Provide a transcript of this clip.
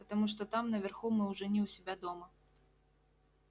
потому что там наверху мы уже не у себя дома